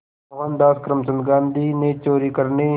मोहनदास करमचंद गांधी ने चोरी करने